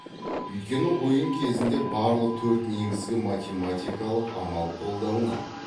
өйткені ойын кезінде барлық төрт негізгі математикалық амал қолданылады